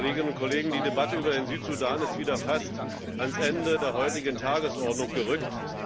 Kolleginnen und Kollegen, die Debatte über den Südsudan ist wieder fast ans Ende der heutigen Tagesordnung gerückt.